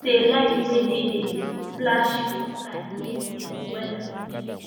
say light wey dey flash for sky mean say weader don change